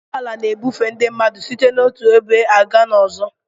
Ụgbọ ala na-ebufe ndị mmadụ site n'otu ebe gaa n'ọzọ